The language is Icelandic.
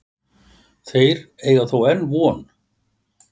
Þeir eiga þó enn von.